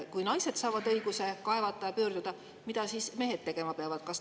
Kui naised saavad õiguse kaevata ja pöörduda, mida siis mehed tegema peavad?